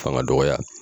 Fanga dɔgɔya